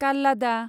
काल्लादा